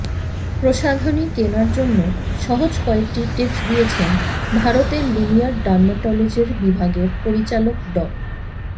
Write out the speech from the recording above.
প্রসাধনী কেনার জন্য সহজ কয়েকটি টিপস দিয়েছেন ভারতের লুমিয়ার ডার্মাটলজির বিভাগের পরিচালক ডা